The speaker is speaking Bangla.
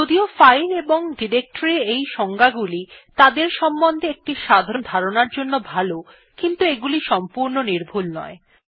যদিও ফাইল এবং ডিরেক্টরীর এই সংজ্ঞাগুলি তাদের সম্বন্ধে একটি সাধারণ ধারণার জন্য ভাল কিন্তু এগুলি সংপূর্ণ নির্ভূল নয়